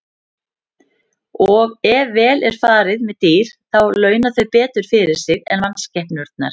Og ef vel er farið með dýr þá launa þau betur fyrir sig en mannskepnurnar.